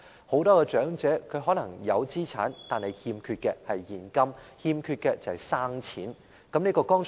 很多長者可能有資產，但欠缺現金或"生錢"。